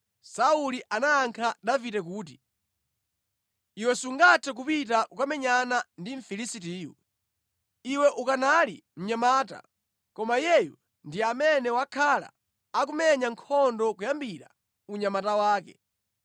Sauli anayankha Davide kuti, “Iwe sungathe kupita kukamenyana ndi Mfilisitiyu. Iwe ukanali mnyamata, koma iyeyu ndi amene wakhala akumenya nkhondo kuyambira unyamata wake.”